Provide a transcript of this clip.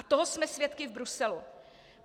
A toho jsme svědky v Bruselu.